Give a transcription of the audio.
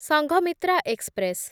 Sanghamitra express